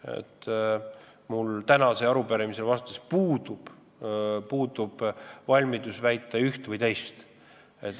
Mina pole täna sellele arupärimisele vastates valmis väitma ühte ega teist.